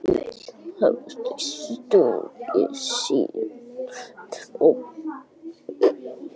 Öll hafa þau sungið síðan.